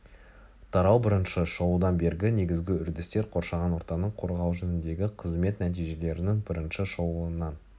тарау бірінші шолудан бергі негізгі үрдістер қоршаған ортаны қорғау жөніндегі қызмет нәтижелерінің бірінші шолуынан